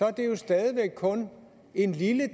er det jo stadig væk kun en lille